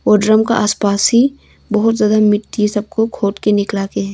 वो ड्रम का आस पास ही बहुत ज्यादा मिट्टी सबको खोद के निकला के है।